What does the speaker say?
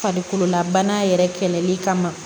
Farikololabana yɛrɛ kɛlɛli kama